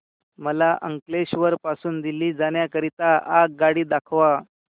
मला अंकलेश्वर पासून दिल्ली जाण्या करीता आगगाडी दाखवा